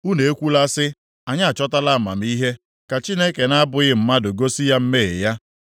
Unu ekwula sị, ‘Anyị achọtala amamihe; ka Chineke na-abụghị mmadụ gosi ya mmehie ya.’